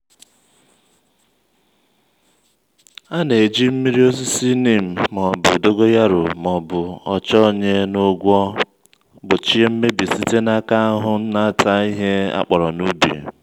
a na-eji mmiri osisi neem ma ọbu dogoyaro ma ọbu ọchọ onye n'ọgwọ gbochie mmebi site n’aka ahụhụ n'ata ihe akpọrọ n'ubi.